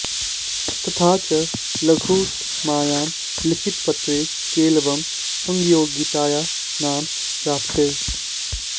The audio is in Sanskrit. तथा च लघुत्तमायां लिखितपत्रे केलवं संयोगितायाः नाम प्राप्यते